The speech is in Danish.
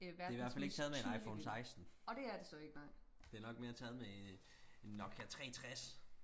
det er i hvert fald ikke taget med en iphone seksten det er nok mere taget med en øh nokia 360